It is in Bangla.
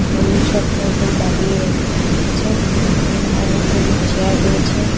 হলুদ শার্ট পরা লোক দাঁড়িয়ে আ্য আছেন উম অনেকগুলো চেয়ার রয়েছে।